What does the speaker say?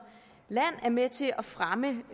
land er med til at fremme